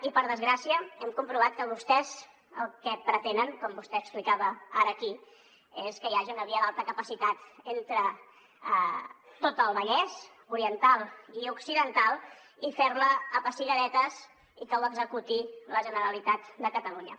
i per desgràcia hem comprovat que vostès el que pretenen com vostè explicava ara aquí és que hi hagi una via d’alta capacitat entre tot el vallès oriental i occidental i fer la a pessigadetes i que ho executi la generalitat de catalunya